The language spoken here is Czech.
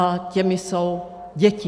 A těmi jsou děti.